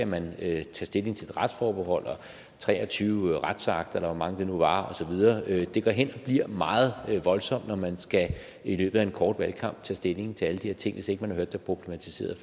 man tage stilling til et retsforbehold og tre og tyve retsakter eller hvor mange det nu var det går hen og bliver meget voldsomt når man i løbet af en kort valgkamp skal tage stilling til alle de her ting hvis man ikke har hørt det problematiseret